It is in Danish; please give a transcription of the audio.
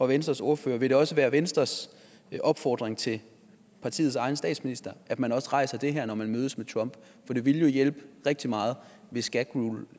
venstres ordfører vil det også være venstres opfordring til partiets egen statsminister at man rejser det her når man mødes med trump for det ville jo hjælpe rigtig meget hvis gag rule